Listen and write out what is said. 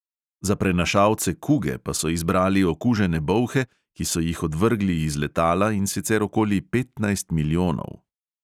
Za prenašalce kuge pa so izbrali okužene bolhe, ki so jih odvrgli iz letala, in sicer okoli petnajst milijonov.